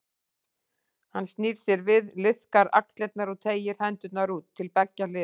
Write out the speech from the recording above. Hann snýr sér við, liðkar axlirnar og teygir hendurnar út til beggja hliða.